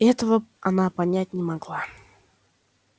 этого она понять не могла